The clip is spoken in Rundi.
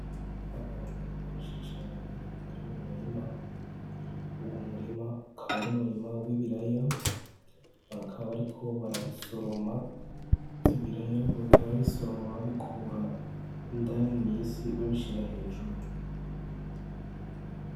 Abantu benshi cane bari mumurima uwo murima ukaba ari umurima w'ibiraya bakaba bariko barabisoroma ivyo biraya bakaba bibisoroma babikura indani mwisi babishira hejuru.